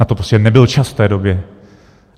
Na to prostě nebyl čas v té době.